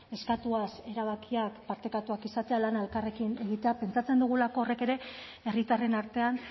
eskatuaz erabakiak partekatuak izatea lana elkarrekin egitea pentsatzen dugulako horrek ere herritarren artean